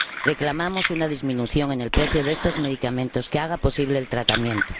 Reclamamos una disminución en el precio de estos medicamentos que haga posible el tratamiento.